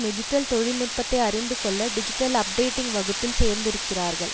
digital தொழில்நுட்பத்தை அறிந்து கொள்ள டிஜிட்டல் அப்டேட்டிங் வகுப்பில் சேர்ந்திருக்கிறார்கள்